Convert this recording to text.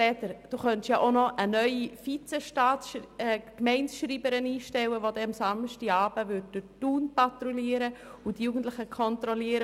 Sie könnten ja auch noch eine neue Vizegemeindeschreiberin einstellen, die am Samstagabend durch Thun patrouilliert und die Jugendlichen kontrolliert.